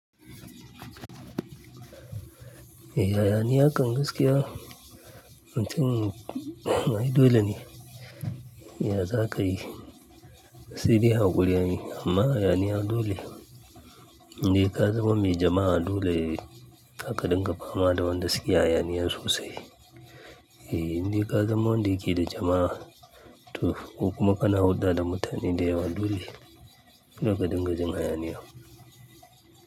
E, hayaniya kan gaskiya mutun, ai dole ne ya za ka yi. Sai dai haƙuri ne amma hauaniyadole. Inde ka zama mai jama'a dole ka dinga fama da wanda suke hayaniya sosai. In dai ka zama wanda yake da jama'a, to ko kuma kana hulɗa da mutane da yawa dole ka dinga jin hayaniya.